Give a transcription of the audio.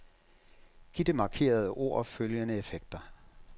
Giv det markerede ord følgende effekter.